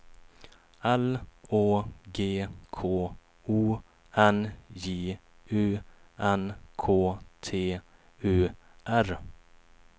L Å G K O N J U N K T U R